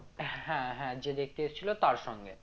হ্যাঁ হ্যাঁ যে দেখতে এসেছিলো তার সঙ্গে